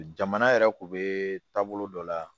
Jamana yɛrɛ kun bɛ taa bolo dɔ la